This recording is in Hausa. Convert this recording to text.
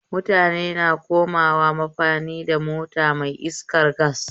Mutane na komawa mafani da mota mai iskar gas